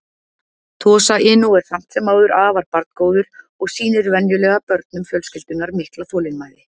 Tosa Inu er samt sem áður afar barngóður og sýnir venjulega börnum fjölskyldunnar mikla þolinmæði.